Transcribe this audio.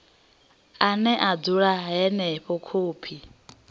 ane a dzula henefho khophi